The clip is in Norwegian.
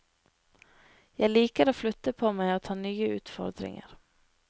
Jeg liker å flytte på meg og ta nye utfordringer.